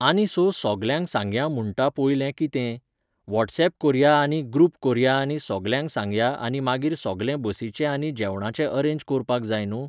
आनी सो सोगल्यांक सांगया म्हुणटा पोयलें, कितें? वॉट्सऍप कोरया आनी ग्रुप कोरया आनी सोगल्यांक सांगया आनी मागीर सोगलें बसीचें आनी जेवणाचें अरेंज कोरपाक जाय न्हू?